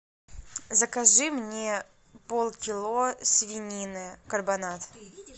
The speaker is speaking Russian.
закажи мне полкило свинины карбонат